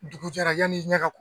Dugu jɛra yanani i ɲɛ ka